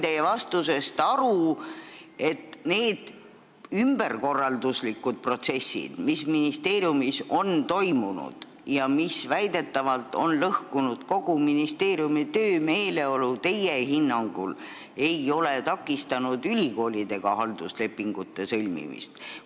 Sain teie vastusest aru, et need ümberkorralduslikud protsessid, mis on ministeeriumis toimunud ja mis on väidetavalt lõhkunud kogu ministeeriumi töömeeleolu, ei ole teie hinnangul takistanud halduslepingute sõlmimist ülikoolidega.